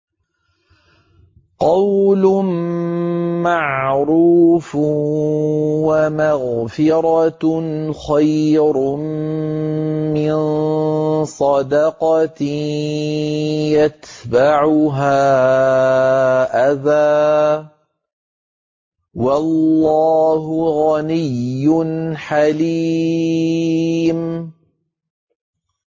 ۞ قَوْلٌ مَّعْرُوفٌ وَمَغْفِرَةٌ خَيْرٌ مِّن صَدَقَةٍ يَتْبَعُهَا أَذًى ۗ وَاللَّهُ غَنِيٌّ حَلِيمٌ